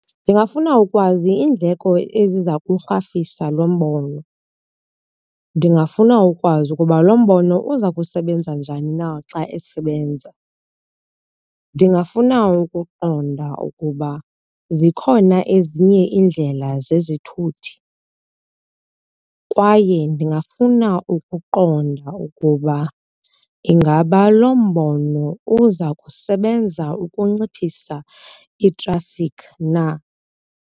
Ndingafuna ukwazi iindleko eziza kurhafisa lo mbono. Ndingafuna ukwazi ukuba lo mbono uza kusebenza njani na xa esebenza. Ndingafuna ukuqonda ukuba zikhona ezinye iindlela zezithuthi kwaye ndingafuna ukuqonda ukuba ingaba lo mbono uza kusebenza ukunciphisa itrafikhi na.